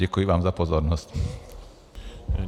Děkuji vám za pozornost.